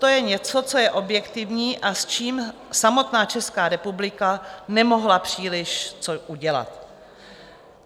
To je něco, co je objektivní a s čím samotná Česká republika nemohla příliš co udělat.